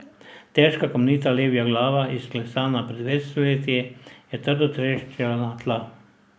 Težka kamnita levja glava, izklesana pred več stoletji, je trdo treščila na tla.